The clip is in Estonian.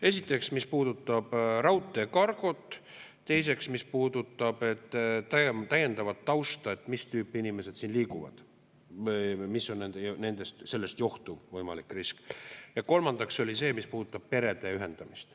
Esiteks, mis puudutab raudteekargot; teiseks, mis puudutab täiendavat tausta, et mis tüüpi inimesed siin liiguvad ja mis on sellest johtuv võimalik risk; ja kolmandaks oli see, mis puudutab perede ühendamist.